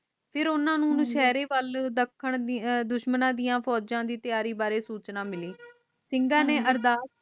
ਫੇਰ ਓਨਾ ਨੂੰ ਨਸ਼ੇਰੇ ਵੱਲ ਦੱਖਣ ਦੁਸ਼ਮਣਾਂ ਦੀਆ ਫੋਜਾ ਦੀਆ ਤਿਆਰੀ ਬਾਰੇ ਸੂਚਨਾ ਮਿਲੀ